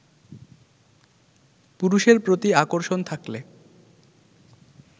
পুরুষের প্রতি আকর্ষণ থাকলে